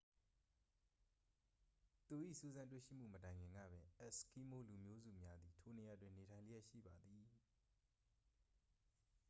သူ၏စူးစမ်းတွေ့ရှိမှု မတိုင်ခင်ကပင် အက်စ်ကီးမိုး လူမျိုးစုများသည် ထိုနေရာတွင် နေထိုင်လျက်ရှိပါသည်